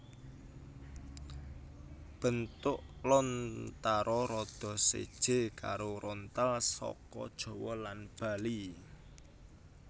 Bentuk lontara rada séjé karo rontal saka Jawa lan Bali